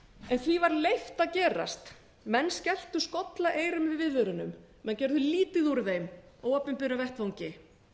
en því var leyft að gera menn skelltu skollaeyrum við viðvörunum menn gerðu lítið úr þeim á opinberum vettvangi